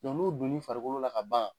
Dɔn n'o donn'i farikolo la ka ban